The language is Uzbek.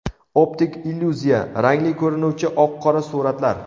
Optik illyuziya: Rangli ko‘rinuvchi oq-qora suratlar .